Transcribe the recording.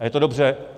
A je to dobře.